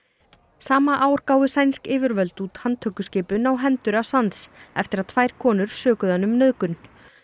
sama ár gáfu sænsk yfirvöld út handtökuskipun á hendur eftir að tvær konur sökuðu hann um nauðgun